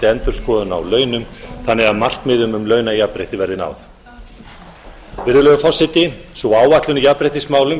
endurskoðun á launum þannig að markmiðum um launajafnrétti verði náð virðulegi forseti sú áætlun í jafnréttismálum